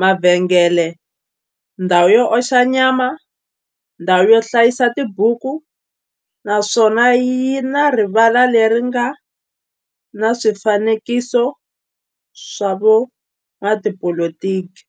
mavhengele, ndhawu yo oxa nyama, ndhawu yo hlayisa tibuku, naswona yi na rivala le ri nga na swifanekiso swa vo n'watipolitiki.